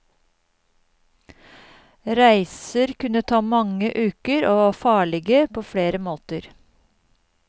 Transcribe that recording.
Reiser kunne ta mange uker og var farlige på flere måter.